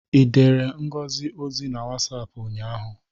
I dere Ngozi ozi na Wasapụ ụnyaahụ?